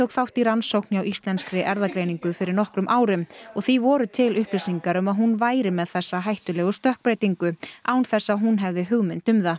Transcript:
þátt í rannsókn hjá íslenskri erfðagreiningu fyrir nokkrum árum og því voru til upplýsingar um að hún væri með þessa hættulegu stökkbreytingu án þess að hún hefði hugmynd um það